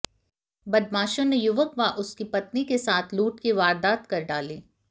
बदमाशों ने युवक व उसकी पत्नी के साथ लूट की वारदात कर डाली